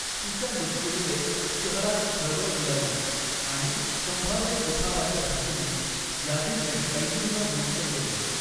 तिच्या मृत्यूमुळे शहरात खळबळ उडाली, आणि संभाव्य उठावाच्या भीतीने, याझिदने कैदींना मुक्त केले.